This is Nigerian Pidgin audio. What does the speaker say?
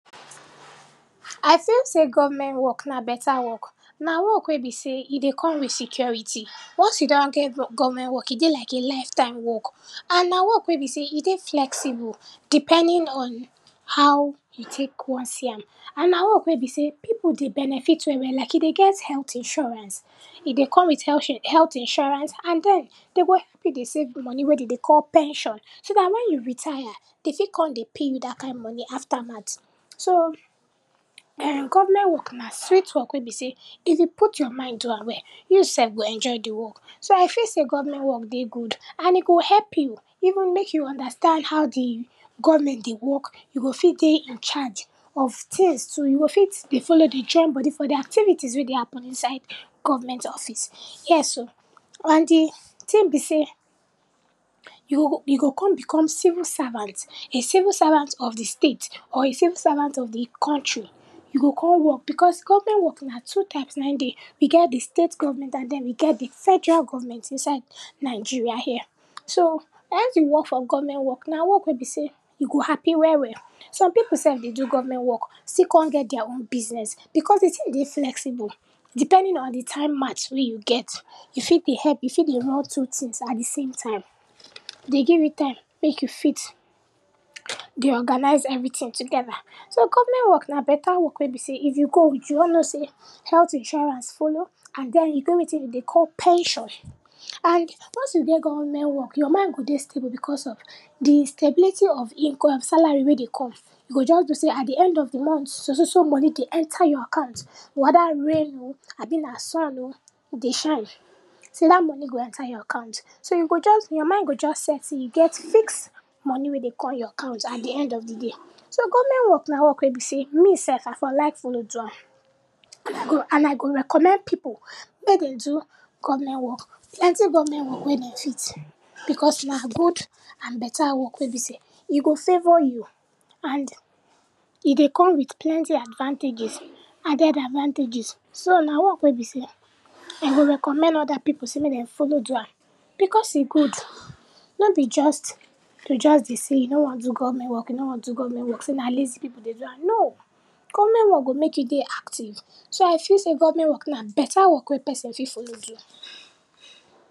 I feel sey government work na beta work. Na work wey be sey e dey come wit security, once you don get bro government work, e dey like a life time work and na work wey be sey e dey flexible depending on how you tek wan see am, and na work we be sey pipu dey benefit well well, like e dey get healt insurance, e dey come wit healt share, healt insurance and den, den go help you dey save di money wey den dey call pension, so dat when you retire den fit kon dey pay you dat kind money aftermat. So, um, government work na sweet work wey be sey, if you put your mind do am well, you sef go enjoy di work. So, I feel sey government work dey good, and e go help you even, mek you understand how di government dey work, you go fit dey in charge of tins too, you go fit dey follow dey join body for di activities wey dey happen inside government office ,yes o. And di tin be sey, you go, yo go kon become civil servant, a civil servant of di state or a civil servant of di country. You go kon work because government work na two types na dey, we get di state government and den we get di federal government inside Nigeria here. So, once you work for government work na work wey be sey you go happy well well, some pipu sef dey do government work still kon get dia own business, because di tin dey flexible depending on di time match wey you get. You fit be help, you fit dey run two tins at di same time, dey give you time mek you fit dey organise everytin togeda. So, government work na beta work wey be sey, if you go wit, you no know sey, healt insurance follow and den e get wetin den dey call pension and once you dey government work, your mind go dey stable because of di stability of income, salary wey dey come. You go just know sey at di end of di mont so so so money dey enter your account, weda rain o abi na sun o dey shine sey dat money go enter your account. So, you go just, your mind go just set sey you get fix money wey dey kon your account at di end of di day. So, government work na work wey be sey, me sef I for like follow do am. And I go, and I go recommend pipu mey den do government work. Plenty government wey den fit because na good and beta work wey be sey e go favour you and e dey come wit plenty advantages, added advantages. So, na work wey be sey I go recommend oda pipu sey mey den follow do am. Because e good, nor be just, to just dey sey you no wan do government work, you nor wan do government work, sey na lazy pipu dey do am, no. Government work go mek you dey active. So, I feel sey government work na beta work wey person fit follow do.